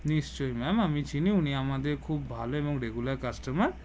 নিশ্চয় ম্যাম আমি চিনি উনি আমাদের খুব এবং ভালো regular customer